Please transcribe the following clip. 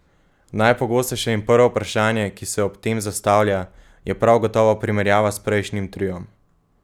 Najpogostejše in prvo vprašanje, ki se ob tem zastavlja, je prav gotovo primerjava s prejšnjim triom.